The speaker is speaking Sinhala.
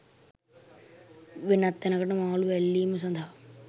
වෙනත් තැනකට මාලු ඇල්ලීම සදහා